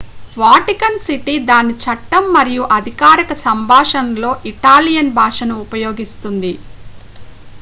Vatican City దాని చట్టం మరియు అధికారిక సంభాషణలలో ఇటాలియన్ భాషను ఉపయోగిస్తుంది